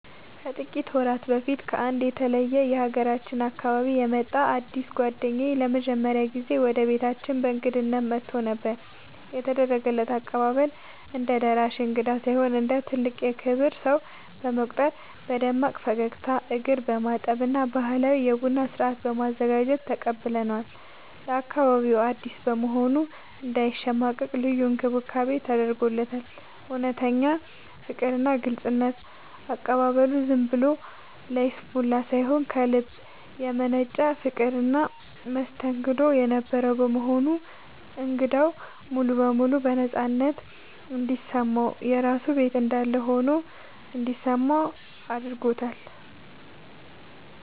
ከጥቂት ወራት በፊት ከአንድ የተለየ የሀገራችን አካባቢ የመጣ አዲስ ጓደኛዬ ለመጀመሪያ ጊዜ ወደ ቤታችን በእንግድነት መጥቶ ነበር። የተደረገው አቀባበል፦ እንደ ደራሽ እንግዳ ሳይሆን እንደ ትልቅ የክብር ሰው በመቁጠር በደማቅ ፈገግታ፣ እግር በማጠብ እና ባህላዊ የቡና ስነ-ስርዓት በማዘጋጀት ተቀብለነዋል። ለአካባቢው አዲስ በመሆኑ እንዳይሸማቀቅ ልዩ እንክብካቤ ተደርጎለታል። እውነተኛ ፍቅርና ግልጽነት፦ አቀባበሉ ዝም ብሎ ለይስሙላ ሳይሆን ከልብ የመነጨ ፍቅርና መስተንግዶ የነበረው በመሆኑ እንግዳው ሙሉ በሙሉ ነፃነት እንዲሰማውና የራሱ ቤት እንዳለ ሆኖ እንዲሰማው አድርጎታል።